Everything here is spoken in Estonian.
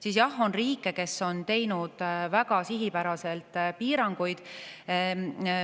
Siis jah, on riike, kes on teinud väga sihipäraselt piiranguid.